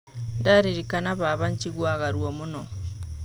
Ndaririkana baba jiguaga ruo mũno.